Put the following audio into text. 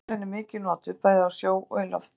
Sjómílan er mikið notuð, bæði á sjó og í lofti.